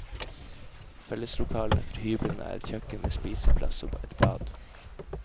Felleslokalene for hyblene er et kjøkken med spiseplass og et bad.